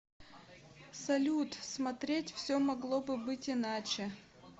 салют смотреть все могло бы быть иначе